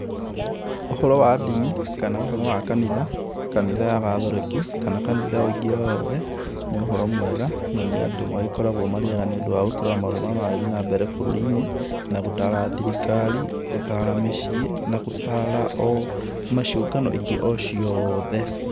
Ũhoro wa ndini kana ũhoro wa kanitha, kanitha ya katoreki kana kanitha o ĩngĩ o yothe nĩ ũhoro mwega na nĩ andũ makoragwo marĩ ega nĩ ũndũ wa kũrora maũndũ marĩa maragĩthiĩ na mbere bũrũrinĩ na gũtara thirikari, gũtara mĩcĩĩ, na gũtara ona ciũngano ĩngĩ o ciothe